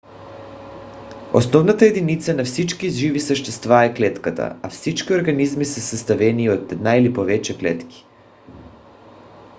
основната единица на всички живи същества е клетката а всички организми са съставени от една или повече клетки